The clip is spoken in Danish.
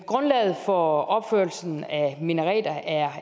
grundlaget for opførelsen af minareter er